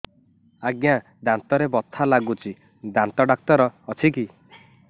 ଆଜ୍ଞା ଦାନ୍ତରେ ବଥା ଲାଗୁଚି ଦାନ୍ତ ଡାକ୍ତର ଅଛି କି